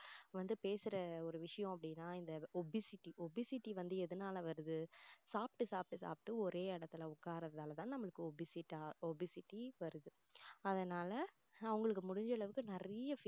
வந்து பேசுற ஒரு விஷயம் அப்படின்னா இந்த obesity obesity வந்து எதனால வருது சாப்பிட்டு சாப்பிட்டு சாப்பிட்டு ஒரே இடத்துல உட்கார்றதால தான் நம்மளுக்கு obesit~obesity வருது அதனால அவங்களுக்கு முடிஞ்ச அளவுக்கு நிறைய